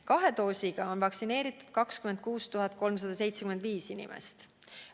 Kahe doosiga on vaktsineeritud 26 375 inimest.